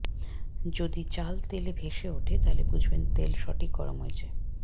যদি চাল তেলে ভেসে ওঠে তাহলে বুঝবেন তেল সঠিক গরম হয়েছে